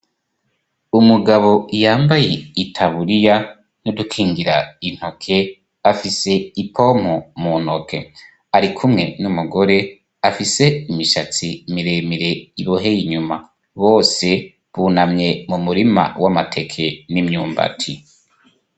Umugabo yambaye i taburiya nodukingira intoke afise ipompo mu ntoke ari kumwe n'umugore afise imishatsi miremire iboheye inyuma bose bunamye mu murima w'amateke n'imyumbati.